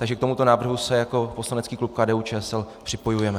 Takže k tomuto návrhu se jako poslanecký klub KDU-ČSL připojujeme.